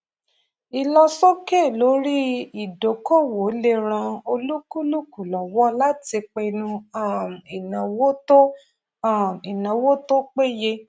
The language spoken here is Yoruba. ìlọsókè lórí ìdókòwò lè ràn olúkúlùkù lọwọ láti pinnu um ìnáwó tó um ìnáwó tó péye